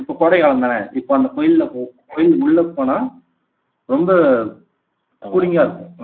இப்போ கோடை காலம் தானே இப்போ அந்த கோயில்ல போ கோயில் உள்ள போனா ரொம்ப கூலிங்கா இருக்கும்